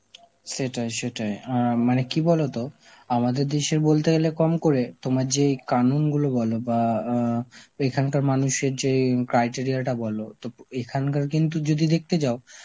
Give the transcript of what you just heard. সেটাই সেটাই আ মানে কি বলতো আমাদের দেশে বলতে গেলে কম করে তোমার যেই কানুন গুলো বল বাঁ আ এখানকার মানুষের যেই criteria টা বলো, তো প~ এখানকার কিন্তু যদি দেখতে যাও